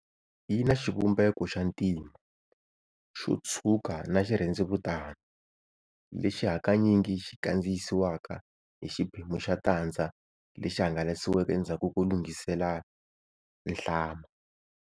Yina xivumbeko xa ntima, xotshuka na xirhendzevutani, lexi hakanyingi xi kandziyisiwaka hi xiphemu xa tandza lexi hangalasiweke endzhaku ko lunghiselela nhlama.